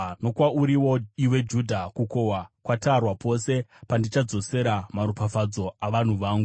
“Nokwauriwo iwe, Judha, kukohwa kwatarwa. “Pose pandichadzorera maropafadzo avanhu vangu.